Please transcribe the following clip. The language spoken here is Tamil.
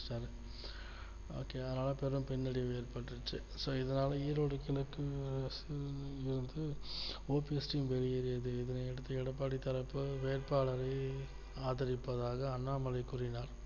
okay அதனால தான் பின்னடைவு ஏற்பட்ருச்சு so இதனால ஈரோடு கிழக்கு வந்து OPSteam வெளியேறியது இதனையடுத்து எடப்பாடி தரப்பு வேட்பாளரை ஆதரிப்பதாக அண்ணாமலை கூறினார்